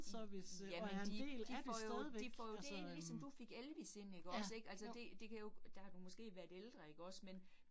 Ja ja men de de får jo de får jo det ind ligesom du fik Elvis ind ikke også ik, altså det det kan jo, der har du måske været ældre ikke også men